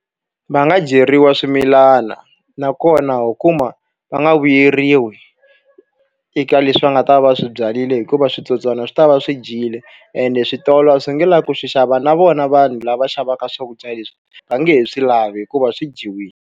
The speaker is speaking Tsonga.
Va nga dyeriwa swimilana. Nakona ho kuma va nga vuyeriwi eka leswi va nga ta va swi byarile hikuva switsotswana swi tava swi dyile, ende switolo a swi nge lavi ku swi xava. Na vona vanhu lava xavaka swakudya leswi, va nge he swi lavi hikuva swi dyiwile.